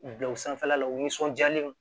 Bila u sanfɛla la u nisɔnjalen don